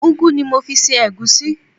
Ugu ni mo fi sí ẹ̀gúsí.